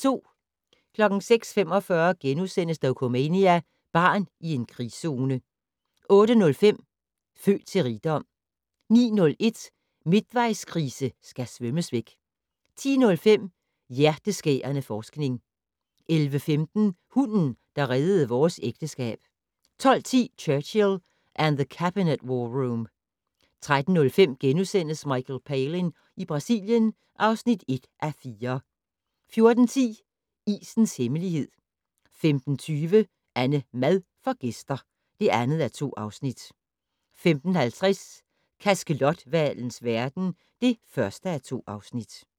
06:45: Dokumania: Barn i en krigszone * 08:05: Født til rigdom 09:01: Midtvejskrise skal svømmes væk 10:05: Hjerteskærende forskning 11:15: Hunden, der reddede vores ægteskab 12:10: Churchill And The Cabinet War Room 13:05: Michael Palin i Brasilien (1:4)* 14:10: Isens hemmelighed 15:20: AnneMad får gæster (2:2) 15:50: Kaskelothvalens verden (1:2)